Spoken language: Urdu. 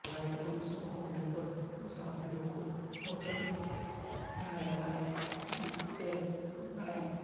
فلائٹ منسوخ ہونے پر مسافروں کو ہوٹل میں ٹہرائے گی ایئرلائنز